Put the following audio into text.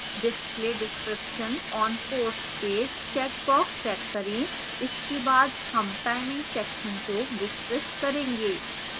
display description on course page checkbox check करें इसके बाद हम timing section को विस्तृत करेंगे